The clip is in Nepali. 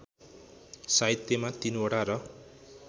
साहित्यमा तीनवटा र